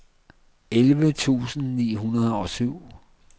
elleve tusind ni hundrede og syv